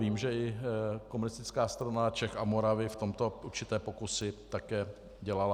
Vím, že i Komunistická strana Čech a Moravy v tomto určité pokusy také dělala.